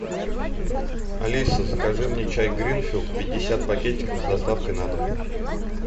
алиса закажи мне чай гринфилд пятьдесят пакетиков с доставкой на дом